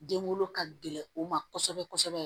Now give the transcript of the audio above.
Den wolo ka gɛlɛn u ma kosɛbɛ kosɛbɛ